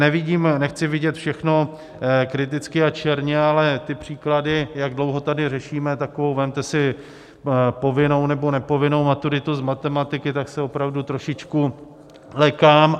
Nevidím, nechci vidět všechno kriticky a černě, ale ty příklady, jak dlouho tady řešíme, tak vezměte si povinnou nebo nepovinnou maturitu z matematiky, tak se opravdu trošičku lekám.